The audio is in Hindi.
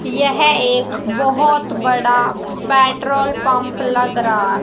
यह एक बहोत बड़ा पेट्रोल पंप लग रा--